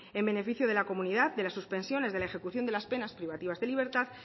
en beneficio de la comunidad de las suspensiones de la ejecución de las penas privativas de libertad